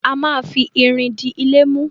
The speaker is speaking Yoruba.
A má fi irin di ilé mú.